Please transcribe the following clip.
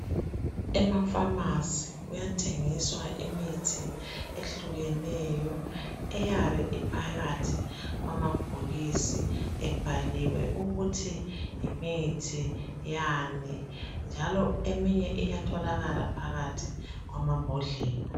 Emapharmacy kuyathengiswa imithi ehlukeneyo eyabe iphakathi kwamabhokisi ebhaliwe ukuthi yimithi yani njalo eminye iyatholakala phakathi kwamambodlela.